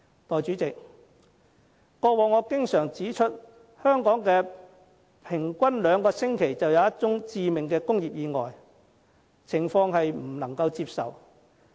代理主席，過往我經常指出香港平均兩星期便有一宗致命工業意外，情況不能接受。